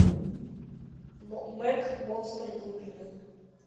мэг монстр глубины